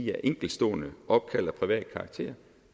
enkeltstående opkald af privat karakter